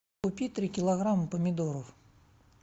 купи три килограмма помидоров